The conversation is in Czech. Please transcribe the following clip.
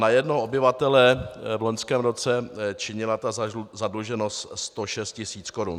Na jednoho obyvatele v loňském roce činila ta zadluženost 106 tisíc korun.